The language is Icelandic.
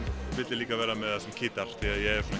vildi líka vera með hann sem keytar því ég er